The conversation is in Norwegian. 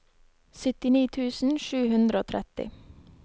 syttini tusen sju hundre og tretti